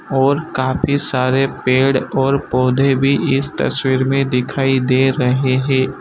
और काफी सारे पेड़ और पौधे भी इस तस्वीर में दिखाई दे रहे हैं।